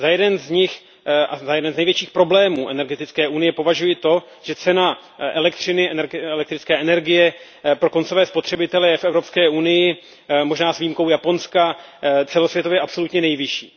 Za jednu z nich a za jeden z největších problémů energetické unie považuji to, že cena elektrické energie pro koncové spotřebitele je v Evropské unii, možná s výjimkou Japonska, celosvětově absolutně nejvyšší.